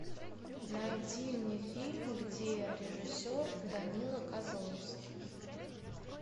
найди мне фильм где режиссер данила козловский